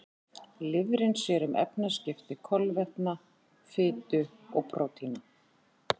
Lifrin sér um efnaskipti kolvetna, fitu og prótína.